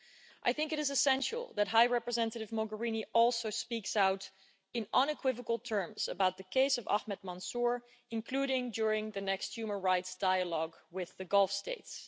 I think it is essential that High Representative Mogherini also speak out, in unequivocal terms, about the case of Ahmed Mansoor, including during the next human rights dialogue with the Gulf States.